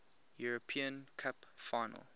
european cup final